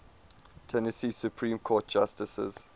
tennessee supreme court justices